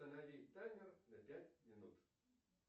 установи таймер на пять минут